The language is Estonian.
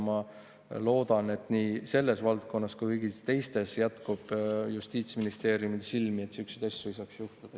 Ma loodan, et nii selles valdkonnas kui ka kõigis teistes jätkub Justiitsministeeriumil silmi, et niisuguseid asju ei saaks juhtuda.